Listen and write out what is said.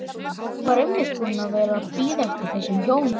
Var einmitt búinn að vera að bíða eftir þessum hjónum.